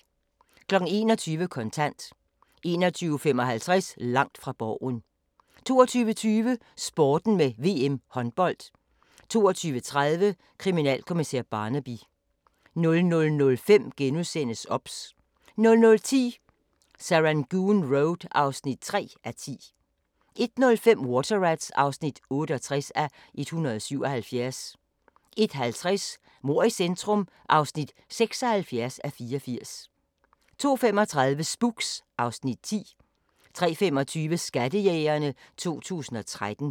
21:00: Kontant 21:55: Langt fra Borgen 22:20: Sporten med VM håndbold 22:30: Kriminalkommissær Barnaby 00:05: OBS * 00:10: Serangoon Road (3:10) 01:05: Water Rats (68:177) 01:50: Mord i centrum (76:84) 02:35: Spooks (Afs. 10) 03:25: Skattejægerne 2013